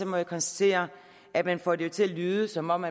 må jeg konstatere at man får det til at lyde som om